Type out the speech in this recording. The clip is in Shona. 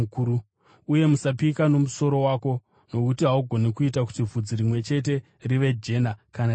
Uye usapika nomusoro wako nokuti haugoni kuita kuti bvudzi rimwe chete rive jena kana dema.